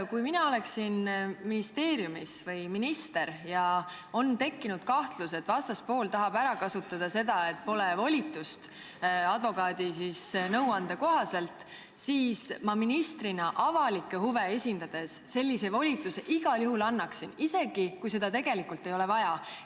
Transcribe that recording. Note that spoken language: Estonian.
Kui mina oleksin minister ja kui oleks tekkinud kahtlus, et vastaspool tahab advokaadi nõuande kohaselt ära kasutada seda, et pole volitust, siis ma ministrina avalikke huve esindades sellise volituse igal juhul annaksin, isegi kui seda tegelikult vaja ei ole.